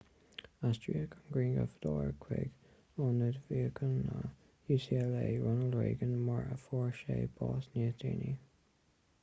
aistríodh an grianghrafadóir chuig ionad míochaine ucla ronald reagan mar a fuair sé bás níos déanaí